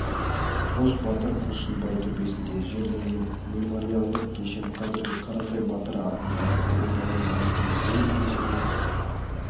қос батыр құлшынбай төбесінде жерленген мемориалдық кешен қазіргі қарасай батыр атындағы ауылда орналасқан ұлы кесене